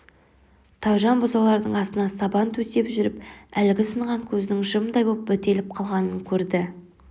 тайжан бұзаулардың астына сабан төсеп жүріп әлгі сынған көздің жымдай боп бітеліп қалғанын көрді